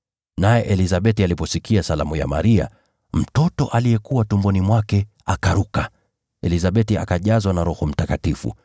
Naye Elizabeti aliposikia salamu ya Maria, mtoto aliyekuwa tumboni mwake akaruka. Elizabeti akajazwa na Roho Mtakatifu,